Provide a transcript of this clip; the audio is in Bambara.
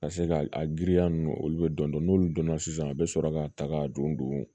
Ka se ka a giriya ninnu olu bɛ dɔn n'olu dɔnna sisan a bɛ sɔrɔ ka ta ka don